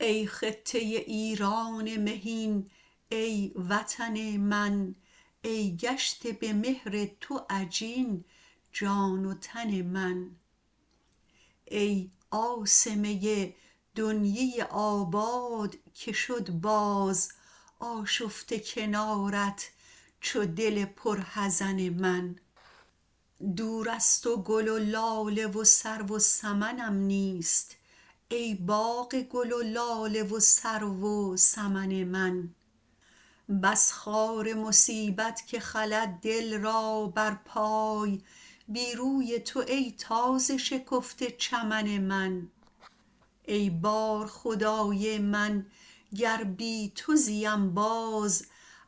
ای خطه ایران مهین ای وطن من ای گشته به مهر تو عجین جان و تن من ای عاصمه دنیی آباد که شد باز آشفته کنارت چو دل پر حزن من دور از تو گل و لاله و سرو و سمنم نیست ای باغ گل و لاله و سرو و سمن من بس خار مصیبت که خلد دل را بر پای بی روی تو ای تازه شکفته چمن من ای بارخدای من گر بی تو زیم باز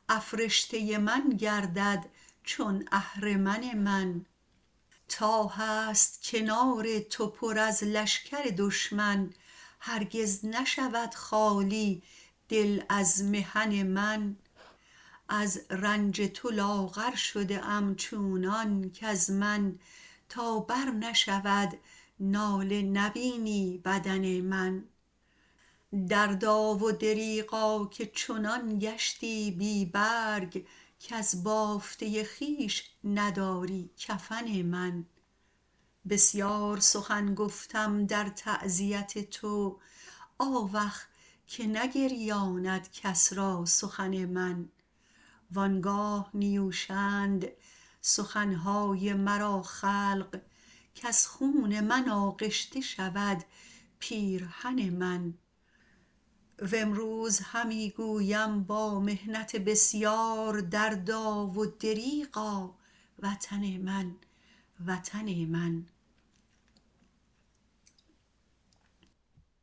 افرشته من گردد چون اهرمن من تا هست کنار تو پر از لشکر دشمن هرگز نشود خالی از دل محن من از رنج تو لاغر شده ام چونان کز من تا بر نشود ناله نبینی بدن من دردا و دریغا که چنان گشتی بی برگ کز بافته خویش نداری کفن من بسیار سخن گفتم در تعزیت تو آوخ که نگریاند کس را سخن من وانگاه نیوشند سخن های مرا خلق کز خون من آغشته شود پیرهن من و امروز همی گویم با محنت بسیار دردا و دریغا وطن من وطن من